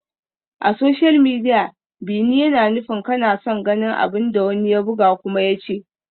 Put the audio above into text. A social media, "bi ni" yana nufin kana son ganin abin da wani ya buga kuma ya ce.